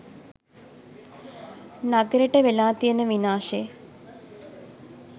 නගරෙට වෙලා තියෙන විනාශෙ.